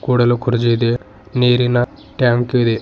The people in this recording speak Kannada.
ಕೂಡಲು ಕುರ್ಚಿದೆ ನೀರಿನ ಟ್ಯಾಂಕ್ ಇದೆ.